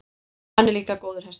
Hann er líka góður hestamaður.